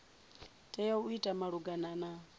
tea u ita malugana na